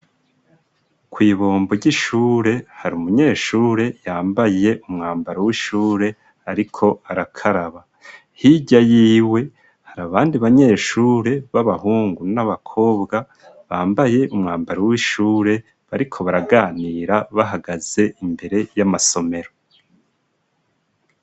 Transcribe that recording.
Kw'ibombo ry'ishure har'umunyeshure yambaye umwambaro w'ishure ariko arakaraba. Hirya yiwe har'abandi banyeshure b'abahungu n'abakobwa bambaye umwambaro w'ishure bariko baraganira bahagaze imbere y'amasomero.